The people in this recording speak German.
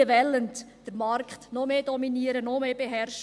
Diese wollen den Markt noch mehr dominieren, noch mehr beherrschen.